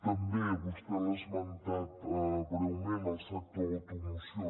també vostè l’ha esmentat breument el sector de l’automoció